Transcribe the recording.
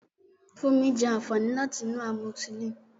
Funmi jẹ àǹfààní láti inú amoxicillin.